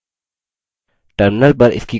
terminal पर इसकी कोशिश करते हैं